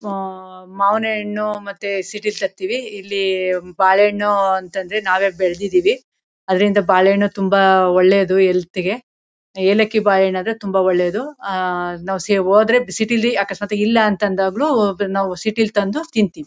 ಅಹ್ ಅಹ್ ಮಾವ್ನ ಹಣ್ಣು ಮತ್ತೆ ಸೀಟಿಲ್ಲಿ ತರ್ತಿವಿ ಇಲ್ಲಿ ಬಾಳೆಹಣ್ಣು ಅಂತ ಅಂದ್ರೆ ನಾವೇ ಬೆಳ್ದಿದೀವಿ ಅದ್ರಿಂದ ಬಾಳೆಹಣ್ಣು ಬಹಳ ಒಳ್ಳೇದು ಹೆಲ್ತ್ ಗೆ. ಏಲಕ್ಕಿ ಬಾಳೆಹಣ್ಣನ್ದ್ರೆ ತುಂಬ ಒಳ್ಳೇದು ಹೆಲ್ತ್ ಗೆ ನಾವು ಸಿಟಿ ಹೋಗಿ ತಂದು ತಿಂತೀವಿ.